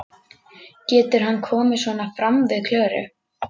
Getur hann komið svona fram við Klöru?